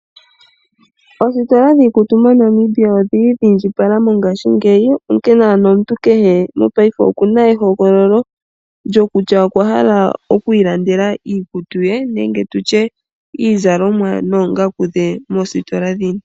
Oositola dhiikutu moNamibia odhili dhiindjipala mongashingeyi, onkene ano omuntu kehe mopaife okuna ehogololo lyokutya okwahala okwiilandela iikutu ye nenge tutye iizalomwa moositola dhini.